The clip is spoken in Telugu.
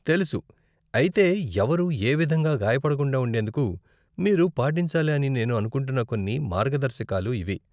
తెలుసు, అయితే ఎవరూ ఏ విధంగా గాయపడకుండా ఉండేందుకు మీరు పాటించాలి అని నేను అనుకుంటున్న కొన్ని మార్గదర్శకాలు ఇవి!